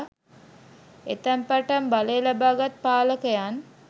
එතැන් පටන් බලය ලබා ගත් පාලකයන්